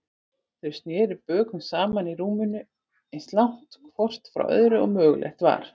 Þau sneru bökum saman í rúminu, eins langt hvort frá öðru og mögulegt var.